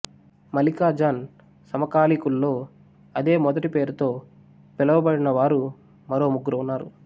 మలికా జాన్ సమకాలీకుల్లో అదే మొదటి పేరుతో పిలవబడినవారు మరో ముగ్గురు ఉన్నారు